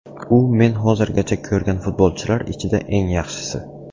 U men hozirgacha ko‘rgan futbolchilar ichida eng yaxshisi.